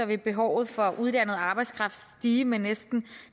vil behovet for uddannet arbejdskraft stige med næsten